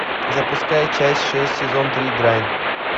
запускай часть шесть сезон три грань